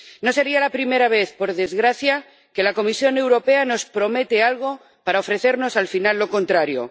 No sería la primera vez, por desgracia, que la Comisión Europea nos promete algo para ofrecernos al final lo contrario.